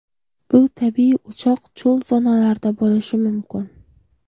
Bu tabiiy o‘choq cho‘l zonalarida bo‘lishi mumkin.